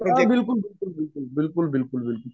हो बिलकुल बिलकुल.